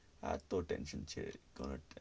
এতো tension সে বলার